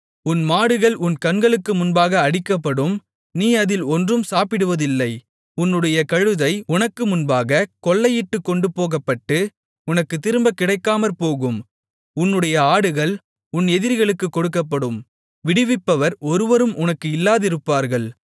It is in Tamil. உன் மாடுகள் உன் கண்களுக்கு முன்பாக அடிக்கப்படும் நீ அதில் ஒன்றும் சாப்பிடுவதில்லை உன்னுடைய கழுதை உனக்கு முன்பாகக் கொள்ளையிட்டுக் கொண்டுபோகப்பட்டு உனக்குத் திரும்ப கிடைக்காமற்போகும் உன்னுடைய ஆடுகள் உன் எதிரிகளுக்குக் கொடுக்கப்படும் விடுவிப்பவர் ஒருவரும் உனக்கு இல்லாதிருப்பார்கள்